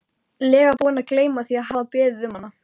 lega búinn að gleyma því að hafa beðið um hana.